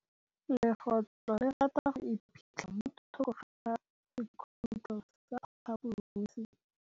Legôtlô le rata go iphitlha mo thokô ga sekhutlo sa phaposi.